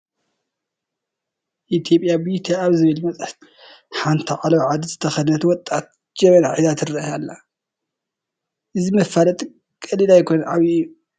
ኢትዮጵያን ቢዩቲ ኣብ ዝብል መፅሔት ሓንቲ ዓለባ ዓዲ ዝተኸደነት ወጣት ጀበና ሒዛ ትርአ ኣላ፡፡ እዚ መፋለጢ ቀሊል ኣይኮነን፡፡ ዓብዪ እዩ፡፡